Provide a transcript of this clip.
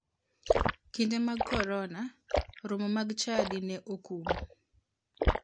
Kinde mag korona, romo mag chadi ne okum.